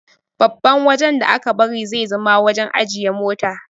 Babban wajan da aka bari zai zama wajan ajiye mota